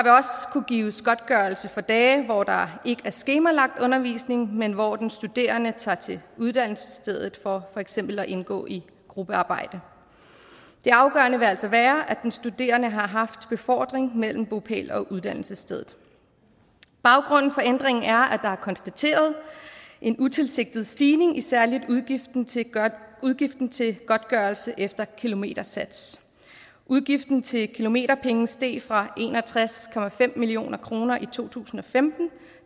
kunne gives godtgørelse for dage hvor der ikke er skemalagt undervisning men hvor den studerende tager til uddannelsesstedet for for eksempel at indgå i gruppearbejde det afgørende vil altså være at den studerende har haft befordring mellem bopæl og uddannelsessted baggrunden for ændringen er at der er konstateret en utilsigtet stigning i særlig udgiften til udgiften til godtgørelse efter kilometersats udgiften til kilometerpenge steg fra en og tres million kroner i to tusind og femten